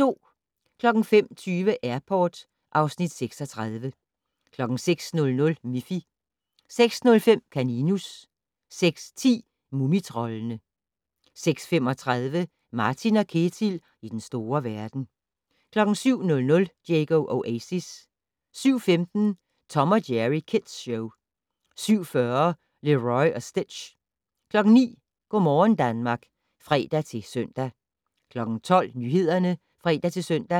05:20: Airport (Afs. 36) 06:00: Miffy 06:05: Kaninus 06:10: Mumitroldene 06:35: Martin & Ketil i den store verden 07:00: Diego Oasis 07:15: Tom & Jerry Kids Show 07:40: Leroy og Stitch 09:00: Go' morgen Danmark (fre-søn) 12:00: Nyhederne (fre-søn)